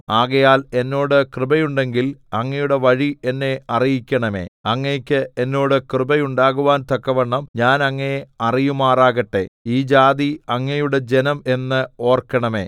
ആകയാൽ എന്നോട് കൃപയുണ്ടെങ്കിൽ അങ്ങയുടെ വഴി എന്നെ അറിയിക്കണമേ അങ്ങയ്ക്ക് എന്നോട് കൃപയുണ്ടാകുവാൻ തക്കവണ്ണം ഞാൻ അങ്ങയെ അറിയുമാറാകട്ടെ ഈ ജാതി അങ്ങയുടെ ജനം എന്ന് ഓർക്കണമേ